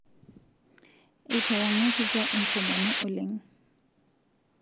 Eitawangakita enkomono oleng